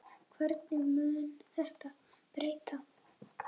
Hverju mun þetta breyta?